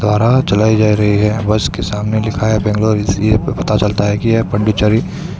चलाई जा रही है बस के सामने लिखा है बेंगलुरु इसलिए पता चलता है कि यह पांडिचेरी--